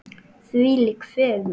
Þvílík fegurð.